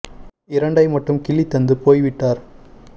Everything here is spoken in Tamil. இரண்டை மட்டும் கிள்ளித் தந்து விட்டுப் போய் விடடார்